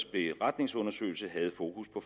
beretningsundersøgelse havde fokus på